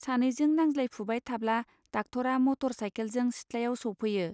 सानैजों नांज्लायफुबाय थाब्ला डाक्टरआ मटर साइकेलजों सिथ्लायाव सौफैयो.